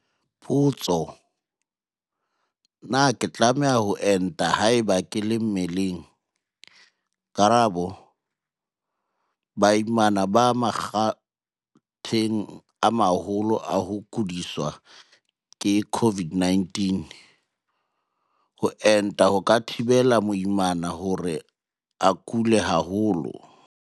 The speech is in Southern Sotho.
Potso- Na ke tlameha ho enta haeba ke le mmeleng? Karabo- Baimana ba makgatheng a maholo a ho kudiswa ke COVID-19. Ho enta ho ka thibela moimana hore a kule haholo.